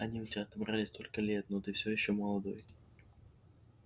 они у тебя отобрали столько лет но ты всё ещё молодой